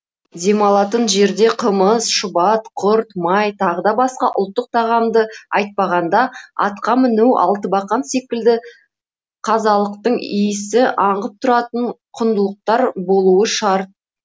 демалатын жерде қымыз шұбат құрт май тағы да басқа ұлттық тағамды айтпағанда атқа міну алтыбақан секілді қазалықтың иісі аңқып тұратын құндылықтар болуы шарт